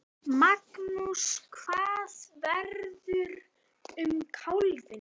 Magnús: Hvað verður um kálfinn?